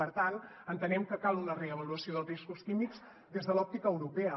per tant entenem que cal una reavaluació dels riscos químics des de l’òptica europea